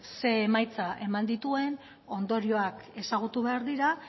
zein emaitza eman dituen ondorioak ezagutu behar dira